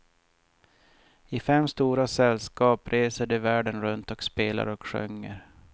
I fem stora sällskap reser de världen runt och spelar och sjunger.